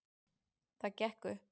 Það gekk upp